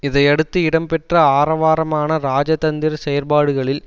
இதையடுத்து இடம் பெற்ற ஆரவாரமான இராஜதந்திர செயற்பாடுகளில்